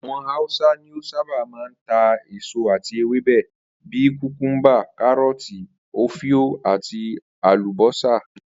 Àwo̩n Hausa ni ó sábà máa ń ta èso àti ewébè̩ bíi kùkúḿbà, káró̩ò̩tì, ofio, àti àlùbó̩sà